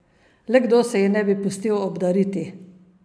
Le kdo se ji ne bi pustil obdariti?